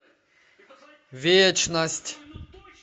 вечность